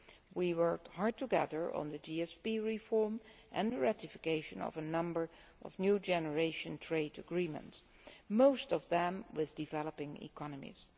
We have worked hard together on the GSP reform and the ratification of a number of new generation trade agreements most of them with developing economies.